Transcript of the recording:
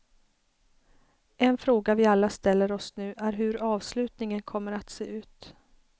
En fråga vi alla ställer oss nu är hur avslutningen kommer att se ut.